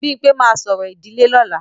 Bímpé máa ṣorò ìdílé lọ́la